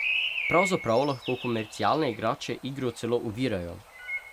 Pravzaprav lahko komercialne igrače igro celo ovirajo.